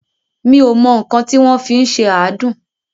Mi ò mọ nǹkan tí wọ́n fi ń ṣe àádùn.